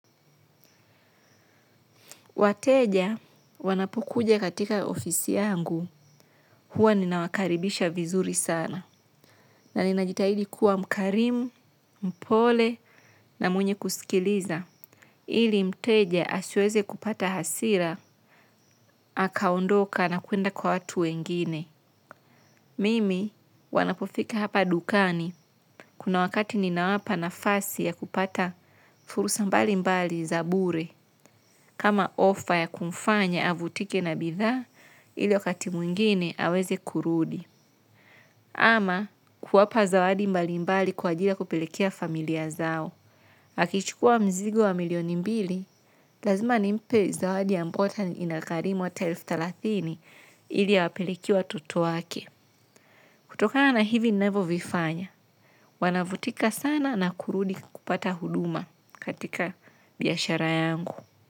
Wateja wanapokuja katika ofisi yangu huwa ninawakaribisha vizuri sana na ninajitahidi kuwa mkarimu, mpole na mwenye kusikiliza. Ili mteja asiweze kupata hasira, hakaondoka na kuenda kwa watu wengine. Mimi wanapofika hapa dukani kuna wakati ninawapa na fasi ya kupata furusa mbali mbali za bure. Kama ofa ya kumfanya avutike na bidha, ili wakati mwingine aweze kurudi. Ama kuwapa zawadi mbali mbali kwa ajili ya kupelekea familia zao. Hakichukua mzigo wa milioni mbili, lazima nimpe zawadi ambao hata inakarimu hata elfu talathini ili awapelekee watoto wake. Kutokana hivi ninavyo vifanya wanafutika sana na kurudi kupata huduma katika biashara yangu.